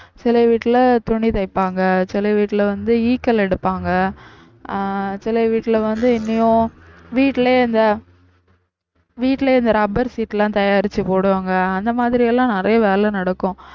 சில வீட்டுல துணி தைப்பாங்க, சில வீட்டுல வந்து எடுப்பாங்க ஆஹ் சில வீட்டுல வந்து இனியும் வீட்டுலயே இந்த வீட்டுலயே இந்த rubber sheet லாம் தயாரிச்சு போடுவாங்க அந்த மாதிரி எல்லாம் நிறைய வேலை நடக்கும்